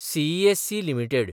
CESC limited